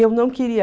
Eu não queria.